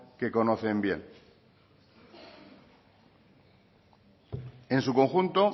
que conocen bien en su conjunto